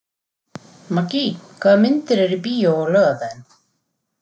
Maggý, hvaða myndir eru í bíó á laugardaginn?